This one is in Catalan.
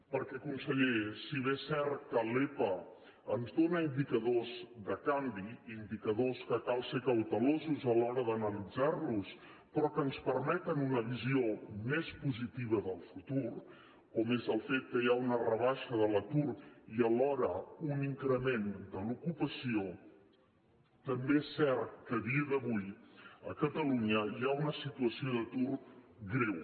perquè conseller si bé és cert que l’epa ens dóna indicadors de canvi indicadors que cal ser cautelosos a l’hora d’analitzar los però que ens permeten una visió més positiva del futur com és el fet que hi ha una rebaixa de l’atur i alhora un increment de l’ocupació també és cert que a dia d’avui a catalunya hi ha una situació d’atur greu